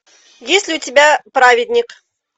есть ли у тебя праведник